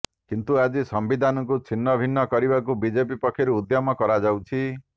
କିନ୍ତୁ ଆଜି ସମ୍ବିଧାନକୁ ଛିନ୍ନଭିନ୍ନ କରିବାକୁ ବିଜେପି ପକ୍ଷରୁ ଉଦ୍ୟମ କରାଯାଉଛି